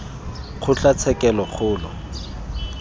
kgotlatshekelokgolo